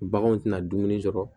Baganw tɛna dumuni sɔrɔ